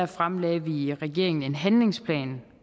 fremlagde vi i regeringen en handlingsplan